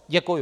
Děkuji.